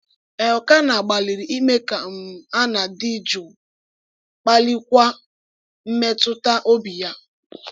Elkanah gbalịrị ime ka um Hannạ dị jụụ, kpalikwa mmetụta obi ya.